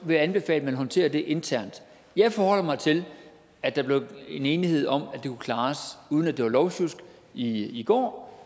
vil jeg anbefale at man håndterer det internt jeg forholder mig til at der blev en enighed om at det kunne klares uden at det var lovsjusk i i går